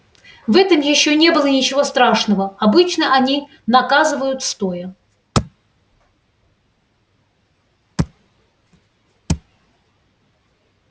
в этом ещё не было ничего страшного обычно они наказывают стоя